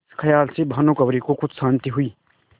इस खयाल से भानुकुँवरि को कुछ शान्ति हुई